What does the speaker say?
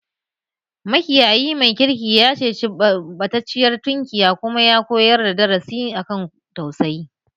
Makiyayi mai kirki ya ceci ɓatacciyar tunkiya kuma ya koyar da darasi a kan tausayi